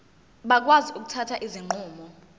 bakwazi ukuthatha izinqumo